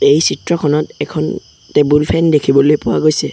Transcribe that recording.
এই চিত্ৰখনত এখন টেবুল ফেন দেখিবলৈ পোৱা গৈছে।